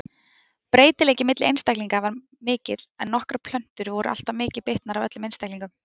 Breytileiki milli einstaklinga var mikill en nokkrar plöntur voru alltaf mikið bitnar af öllum einstaklingunum.